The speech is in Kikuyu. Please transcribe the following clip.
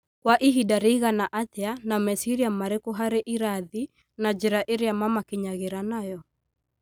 Kwa ihinda rĩigana atĩa na meciria marĩkũ harĩ irathi na njĩra ĩrĩa mamakinyagĩra nayo ?